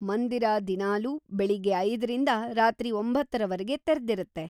ಮಂದಿರ ದಿನಾಲೂ ಬೆಳಿಗ್ಗೆ ಐದರಿಂದ ರಾತ್ರಿ ಒಂತ್ತರವರ್ಗೆ ‌ತೆರ್ದಿರತ್ತೆ.